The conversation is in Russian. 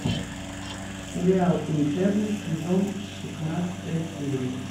сериал интерны сезон шестнадцатая серия